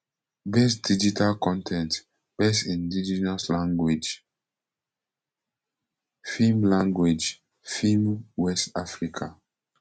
best digital con ten t best indigenous language film language film west africa